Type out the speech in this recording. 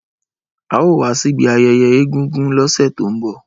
Ao wa sibi ayeye egúngún lose to nbo